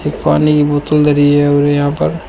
पानी की बोतल धरी है और यहां पर--